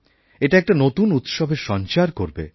এটা একটা নতুন উৎসবের সঞ্চার করবে